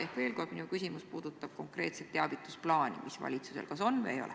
Ehk veel kord: minu küsimus puudutab konkreetselt teavitusplaani, mis valitsusel kas on või mida ei ole.